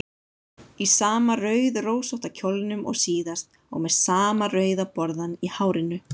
Í sama rauðrósótta kjólnum og síðast og með sama rauða borðann í hárinu.